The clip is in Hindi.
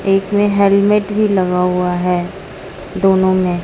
एक ने हेलमेट भी लगा हुआ है। दोनों में--